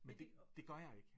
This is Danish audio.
Men det det gør jeg ikke